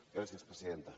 gràcies presidenta